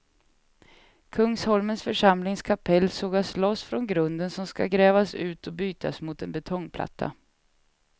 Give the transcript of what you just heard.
Kungsholmens församlings kapell sågas loss från grunden som ska grävas ut och bytas mot en betongplatta.